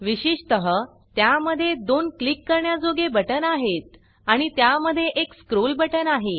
विशेषटाः त्या मध्ये दोन क्लिक करण्याजोगे बटन आहेत आणि त्या मध्ये एक स्क्रोल बटन आहे